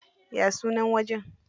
Ya sunan wajen?